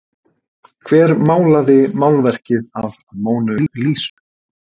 Hver málaði málverkið af Mónu Lísu?